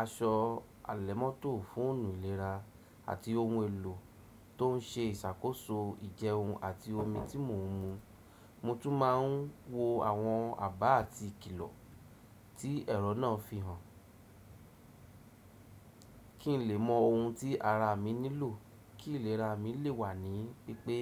aṣọ àlẹ̀mọ́tò fún òòlù ìlera àti ohun èlò tó ń ṣe ìṣàkóso jẹun àti omi tí mò ń mu. Mo tún máa ń wo àwọn àbá àti kìlọ̀ tí ẹ̀rọ náà fi hàn kí n lè mọ ohun tí ara mi nílò kí ìlera mi lè wà ní pípé.